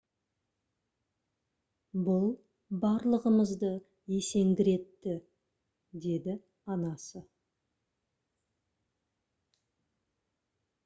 «бұл барлығымызды есеңгіретті» - деді анасы